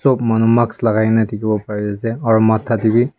sop manu mask lakaikae dikhiwo parease aro matha tae bi.